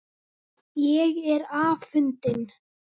Ég er afundin.